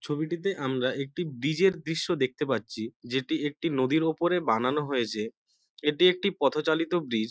ছবিটিতে আমরা একটি ব্রীজ - এর দৃশ্য দেখতে পাচ্ছি যেটি একটি নদীর ওপরে বানানো হয়েছে এটি একটি পথচালিত ব্রীজ ।